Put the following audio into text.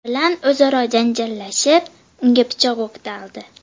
bilan o‘zaro janjallashib, unga pichoq o‘qtaldi.